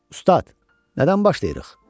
Ustad, nədən başlayırıq?